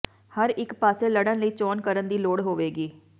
ਹਰ ਇੱਕ ਪਾਸੇ ਲੜਨ ਲਈ ਚੋਣ ਕਰਨ ਦੀ ਲੋੜ ਹੋਵੇਗੀ